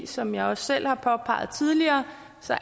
som jeg selv har påpeget tidligere